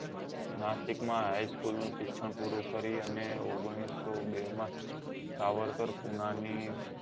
નાસિક માં high school નું શિક્ષણ પૂરું કરી અને ઓગણીસો બે માં સાવરકર પુના ની